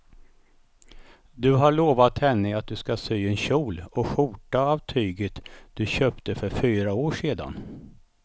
Du har lovat henne att du ska sy en kjol och skjorta av tyget du köpte för fyra år sedan.